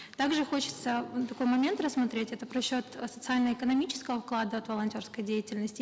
также хочется ну такой момент рассмотреть это просчет э социально экономического вклада от волонтерской деятельности